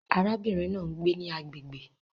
Arábìnrin náà ń gbé ní agbègbè